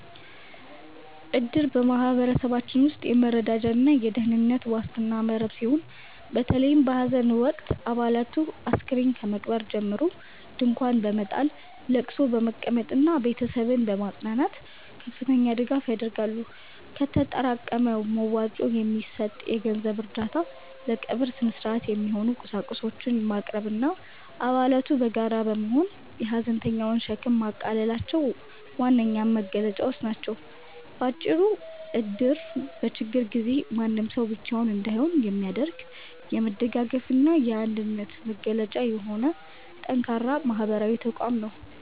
እድር በማኅበረሰባችን ውስጥ የመረዳጃና የደኅንነት ዋስትና መረብ ሲሆን፤ በተለይም በሐዘን ወቅት አባላቱ አስከሬን ከመቅበር ጀምሮ ድንኳን በመጣል፣ ለቅሶ በመቀመጥና ቤተሰብን በማጽናናት ከፍተኛ ድጋፍ ያደርጋሉ። ከተጠራቀመ መዋጮ የሚሰጥ የገንዘብ እርዳታ፣ ለቀብር ሥነ-ሥርዓት የሚሆኑ ቁሳቁሶችን ማቅረብና አባላቱ በጋራ በመሆን የሐዘንተኛውን ሸክም ማቃለላቸው ዋነኛ መገለጫዎቹ ናቸው። ባጭሩ እድር በችግር ጊዜ ማንም ሰው ብቻውን እንዳይሆን የሚያደርግ፣ የመደጋገፍና የአንድነት መገለጫ የሆነ ጠንካራ ማኅበራዊ ተቋም ነው።